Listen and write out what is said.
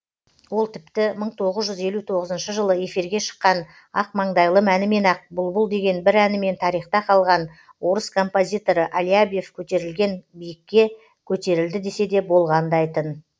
ол тіпті мың тоғыз жүз елу тоғызыншы жылы эфирге шыққан ақмаңдайлым әнімен ақ бұлбұл деген бір әнімен тарихта қалған орыс композиторы алябьев көтерілген биікке көтерілді десе де болғандай тын